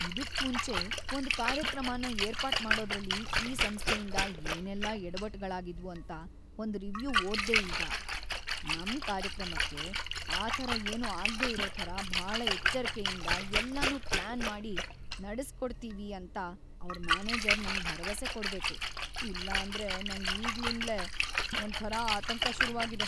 ಇದುಕ್‌ ಮುಂಚೆ ಒಂದ್‌ ಕಾರ್ಯಕ್ರಮನ ಏರ್ಪಾಟ್‌ ಮಾಡೋದ್ರಲ್ಲಿ ಈ ಸಂಸ್ಥೆಯಿಂದ ಏನೆಲ್ಲ ಯಡವಟ್ಟುಗಳಾಗಿದ್ವು ಅಂತ ಒಂದ್‌ ರಿವ್ಯೂ ಓದ್‌ದೆ ನಾನೀಗ. ನಮ್ ಕಾರ್ಯಕ್ರಮಕ್ಕೆ ಆಥರ ಏನೂ ಆಗ್ದೇ ಇರೋ ಥರ ಭಾಳ ಎಚ್ಚರ್ಕೆಯಿಂದ ಎಲ್ಲನೂ ಪ್ಲಾನ್‌ ಮಾಡಿ ನಡೆಸ್ಕೊಡ್ತೀವಿ ಅಂತ ಅವ್ರ್‌ ಮ್ಯಾನೇಜರ್‌ ನಂಗ್‌ ಭರವಸೆ ಕೊಡ್ಬೇಕು. ಇಲ್ಲಾಂದ್ರೆ ನಂಗ್‌ ಈಗಿಂದ್ಲೇ ಒಂಥರ ಆತಂಕ ಶುರುವಾಗಿದೆ.